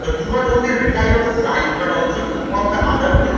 তো do not only rely on side but also involve the other then